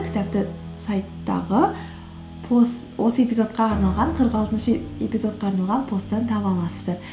кітапты сайттағы осы эпизодқа арналған қырық алтыншы эпизодқа арналған посттан таба аласыздар